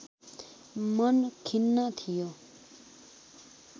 मन खिन्न थियो